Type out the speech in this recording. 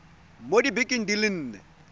mo dibekeng di le nne